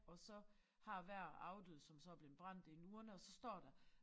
Og så har hver afdøde som så er blevet brændt en urne og så står der